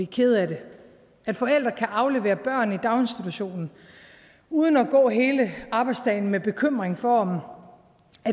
kede af det at forældre kan aflevere børn i daginstitutionerne uden at gå hele arbejdsdagen med bekymring for om